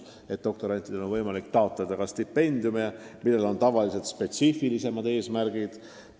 Doktorantidel on võimalik taotleda ka stipendiume, millel on tavaliselt spetsiifilised eesmärgid.